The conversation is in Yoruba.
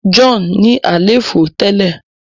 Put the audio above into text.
John ní àléfọ tẹlẹ.